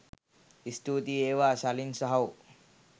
ස්තුතියි වේවා ශලින් සහෝ